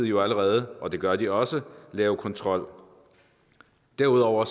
jo allerede og det gør de også lave kontrol derudover